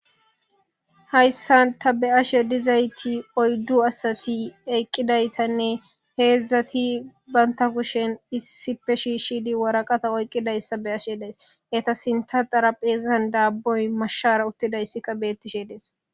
Hayssa ta be'ashe dizayti oyddu asati eqqidaytanne heedzdzati baynta kushen issipe shi shidi waraqata oyqqidayssa be ashe days heta sinta xarapheezan daabboy mashshara uttidayssika beettishe dees.